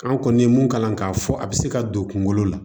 An kɔni ye mun kalan k'a fɔ a bɛ se ka don kungolo la